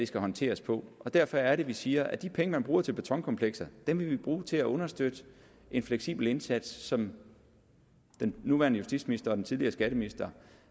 skal håndteres på og derfor er det vi siger at de penge man bruger til betonkomplekser vil vi bruge til at understøtte en fleksibel indsats som den nuværende justitsminister og den tidligere skatteminister